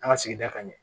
An ka sigida ka ɲɛ